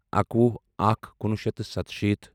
اَکوُہ اکھ کُنوُہ شیٚتھ تہٕ سَتشیٖتھ